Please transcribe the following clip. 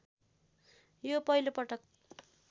यो पहिलो पटक